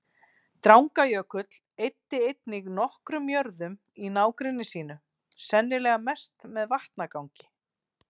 Drangajökull eyddi einnig nokkrum jörðum í nágrenni sínu, sennilega mest með vatnagangi.